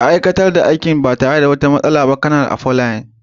Ka aiwatar da aikin ba tare da wata matsala ba, Kanar Afolayan.